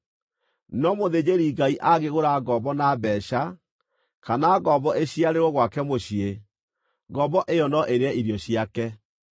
No mũthĩnjĩri-Ngai angĩgũra ngombo na mbeeca, kana ngombo ĩciarĩrwo gwake mũciĩ, ngombo ĩyo no ĩrĩe irio ciake.